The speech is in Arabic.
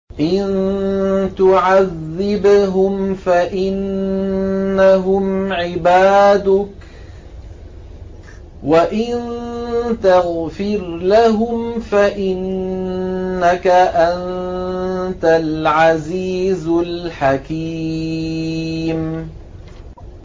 إِن تُعَذِّبْهُمْ فَإِنَّهُمْ عِبَادُكَ ۖ وَإِن تَغْفِرْ لَهُمْ فَإِنَّكَ أَنتَ الْعَزِيزُ الْحَكِيمُ